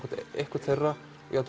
einhvern þeirra